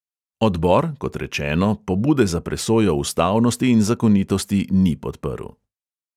Odbor, kot rečeno, pobude za presojo ustavnosti in zakonitosti ni podprl.